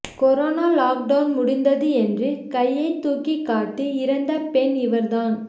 corona lockdown முடிந்தது என்று கையை தூக்கி காட்டி இறந்த பெண் இவர் தான்